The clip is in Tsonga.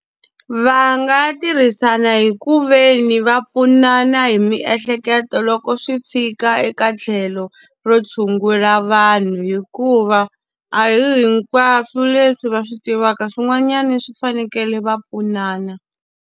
Va nga tirhisana hi ku ve ni va pfunana hi miehleketo loko swi fika eka tlhelo ro tshungula vanhu hikuva, a hi hinkwaswo leswi va swi tivaka swin'wanyana swi fanekele va pfunana.